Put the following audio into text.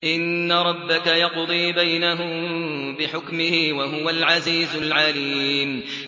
إِنَّ رَبَّكَ يَقْضِي بَيْنَهُم بِحُكْمِهِ ۚ وَهُوَ الْعَزِيزُ الْعَلِيمُ